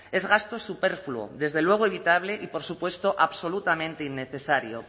es gasto superfluo desde luego evitable y por supuesto absolutamente innecesario